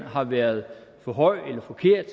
har været for høj eller forkert